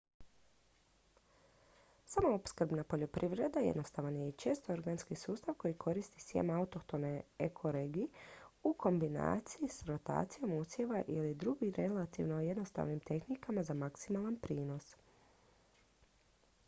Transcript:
samoopskrbna poljoprivreda jednostavan je i često organski sustav koji koristi sjeme autohtono ekoregiji u kombinaciji s rotacijom usjeva ili drugim relativno jednostavnim tehnikama za maksimalan prinos